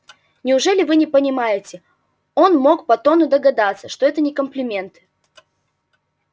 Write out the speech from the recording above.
неужели вы не понимаете он мог по тону догадаться что это не комплименты